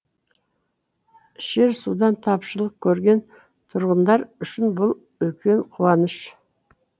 ішер судан тапшылық көрген тұрғындар үшін бұл үлкен қуаныш